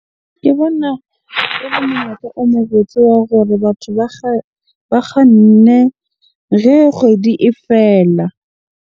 Ke bona ele monyetla o mo botse wa gore batho ba ba kganne kgwedi e fela.